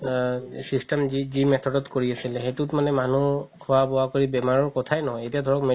system যি method ত কৰি আছিলে সেইতোত মানে মানুহ খুৱা বোৱা কৰি বেমাৰৰ কথা নহয় এতিয়া ধৰক